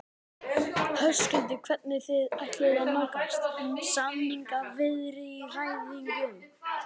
Höskuldur: Hvernig þið ætluðuð að nálgast samningaviðræðurnar?